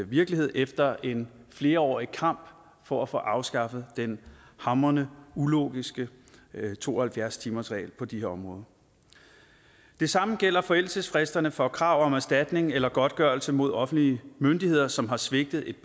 virkelighed efter en flerårig kamp for at få afskaffet den hamrende ulogiske to og halvfjerds timersregel på de her områder det samme gælder forældelsesfristerne for krav om erstatning eller godtgørelse mod offentlige myndigheder som har svigtet et